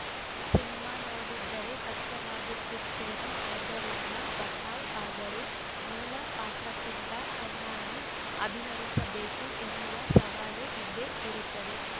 cinema ನೋಡಿದ್ದರೆ ಕಷ್ಟವಾಗುತ್ತಿತ್ತೋ ಏನೋ ಅದರಿಂದ ಬಚಾವ್‌ ಆದರೂ ಮೂಲ ಪಾತ್ರಕ್ಕಿಂತ ಚೆನ್ನಾಗಿ ಅಭಿನಯಿಸಬೇಕು ಎನ್ನುವ ಸವಾಲು ಇದ್ದೇ ಇರುತ್ತದೆ